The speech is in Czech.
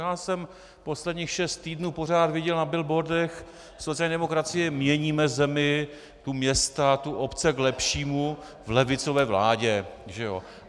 Já jsem posledních šest týdnů pořád viděl na billboardech - sociální demokracie, měníme zemi, tu města, tu obce, k lepšímu v levicové vládě, že jo.